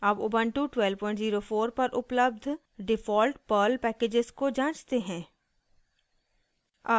अब उबन्टु 1204 पर उपलब्ध डिफ़ॉल्ट पर्ल पैकेजेस को जाँचते हैं